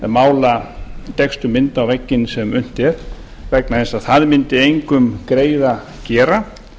mála dekkstu mynd á vegginn sem unnt er vegna þess að það mundi engum greiða gera